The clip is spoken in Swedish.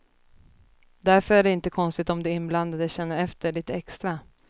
Därför är det inte konstigt om de inblandade känner efter lite extra.